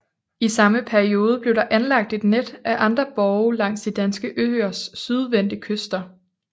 I samme periode blev der anlagt et net af andre borge langs de danske øers sydvendte kyster